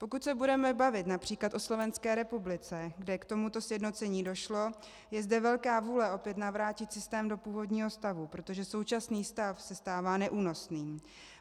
Pokud se budeme bavit například o Slovenské republice, kde k tomuto sjednocení došlo, je zde velká vůle opět navrátit systém do původního stavu, protože současný stav se stává neúnosným.